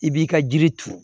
I b'i ka jiri turu